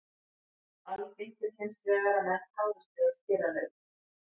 Algengt er hins vegar að menn tárist við að skera lauk.